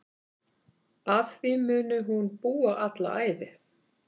Að því muni hún búa alla ævi.